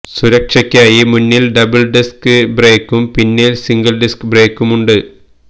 സുരക്ഷയ്ക്കായി മുന്നില് double disc ബ്രേക്കും പിന്നില് സിംഗിള് ഡിസ്ക് ബ്രേക്കുമുണ്ട്